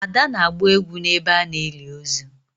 ada na-agba egwu n'ebe a na-eli ozu